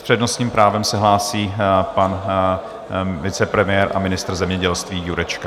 S přednostním právem se hlásí pan vicepremiér a ministr zemědělství Jurečka.